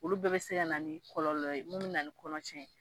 Olu bɛɛ bɛ se ka na ni kɔlɔlɔ ye min bi na ni kɔnɔtiɲɛ